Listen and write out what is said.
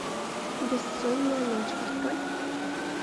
бессонная ночь открой